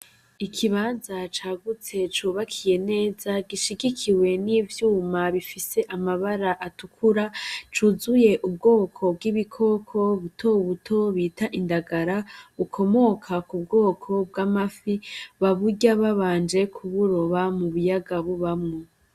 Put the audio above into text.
Ikibanza cagutse cubakiye neza, gishigikiwe n'ivyuma bifise amabara atukura, cuzuye ubwoko bw'ibikoko buto buto bita indagara, bukomoka ku bwoko bw'amafi. Baburya babanje kuburoba mu biyaga bubamwo.